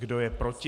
Kdo je proti?